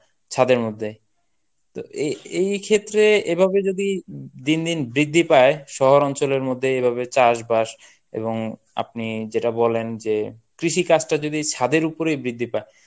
ছাদের মধ্যে. তো এ~ এইক্ষেত্রে এভাবে যদি দিনদিন বৃদ্ধি পায় শহরাঞ্চলের মধ্যে এভাবে চাষবাস এবং আপনি যেটা বলেন যে কৃষিকাজটা যদি ছাদের উপরই বৃদ্ধি পায়